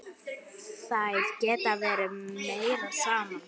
Þær geta verið meira saman.